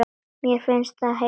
Mér fannst ég heyra hljóð.